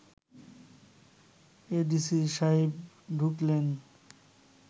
ADC সাহেব ঢুকলেন